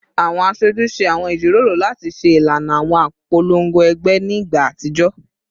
Awọn aṣoju ṣe awọn ijiroro lati ṣe ilana awọn ipolongo ẹgbẹ ni igba atijọ